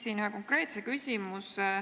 Ma küsin konkreetse küsimuse.